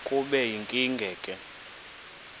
kube yinkinge ke